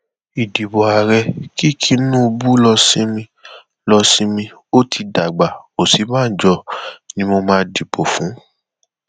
ìdìbò ààrẹ kí tinub lọọ sinmi lọọ sinmi ó ti dàgbà òsínbàjò ni mo máa dìbò fún